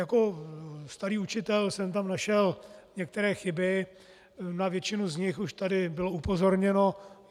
Jako starý učitel jsem tam našel některé chyby, na většinu z nich už tady bylo upozorněno.